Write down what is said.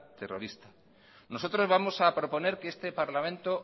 terrorista nosotros vamos a proponer que este parlamento